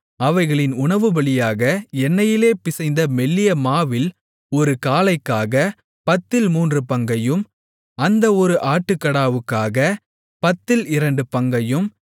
அவைகளின் உணவுபலியாக எண்ணெயிலே பிசைந்த மெல்லிய மாவில் ஒரு காளைக்காகப் பத்தில் மூன்று பங்கையும் அந்த ஒரு ஆட்டுக்கடாவுக்காகப் பத்தில் இரண்டு பங்கையும்